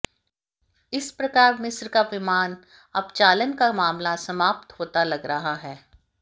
इस प्रकार मिस्र का विमान अपचालन का मामला समाप्त होता लग रहा है